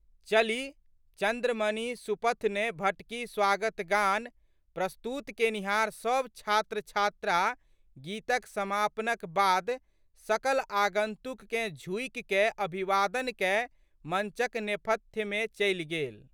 चली 'चन्द्रमणि सुपथ ने भटकी स्वागतगान प्रस्तुत केनिहार सब छात्रछात्रा गीतक समापनक बाद सकल आगंतुककेँ झुकिकए आभिवादन कए मंचक नेपथ्यमे चलि गेल।